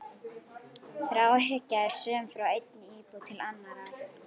Þráhyggja er söm frá einni íbúð til annarrar.